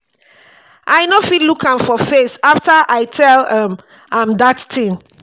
i no fit look am for face after i tell um am dat thing